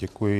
Děkuji.